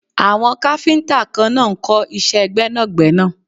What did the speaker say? Àwọn káfíntà kan náà ń kọ́ iṣẹ́ gbẹ́nàgbẹ́nà.